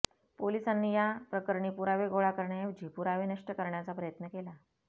पोलिसांनी या प्रकरणी पुरावे गोळा करण्याऐवजी पुरावे नष्ट करण्याचा प्रयत्न केला